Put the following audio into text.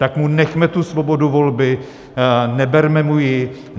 Tak mu nechme tu svobodu volby, neberme mu ji.